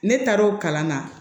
Ne taar'o kalan na